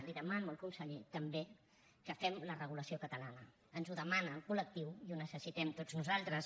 li demano al conseller també que fem la regulació catalana ens ho demana el col·lectiu i ho necessitem tots nosaltres